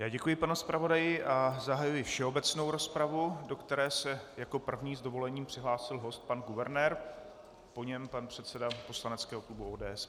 Já děkuji panu zpravodaji a zahajuji všeobecnou rozpravu, do které se jako první s dovolením přihlásil host pan guvernér, po něm pan předseda poslaneckého klubu ODS.